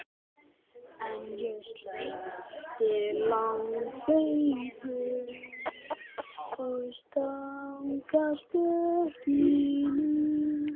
En ég sleppti langhlaupum og stangarstökki.